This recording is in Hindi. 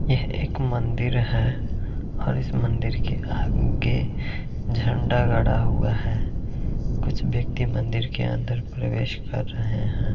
यह एक मंदिर है। और इस मंदिर के आगे झंडा गड़ा हुआ है कुछ व्यक्ति मन्दिर के अंदर प्रवेश कर रहे हैं।